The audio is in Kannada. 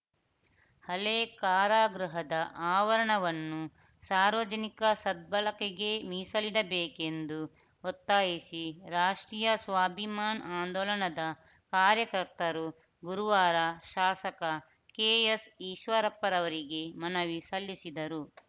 ಹಳೆ ಕಾರಾಗೃಹದ ಆವರಣವನ್ನು ಸಾರ್ವಜನಿಕ ಸದ್ಬಳಕೆಗೆ ಮೀಸಲಿಡಬೇಕೆಂದು ಒತ್ತಾಯಿಸಿ ರಾಷ್ಟ್ರೀಯ ಸ್ವಾಭಿಮಾನ್‌ ಆಂದೋಲನದ ಕಾರ್ಯಕರ್ತರು ಗುರುವಾರ ಶಾಸಕ ಕೆಎಸ್‌ಈಶ್ವರಪ್ಪರವರಿಗೆ ಮನವಿ ಸಲ್ಲಿಸಿದರು